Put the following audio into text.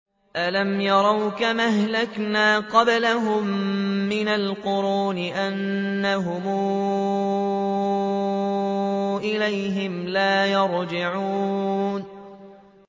أَلَمْ يَرَوْا كَمْ أَهْلَكْنَا قَبْلَهُم مِّنَ الْقُرُونِ أَنَّهُمْ إِلَيْهِمْ لَا يَرْجِعُونَ